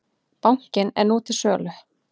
Bankinn er nú til sölu.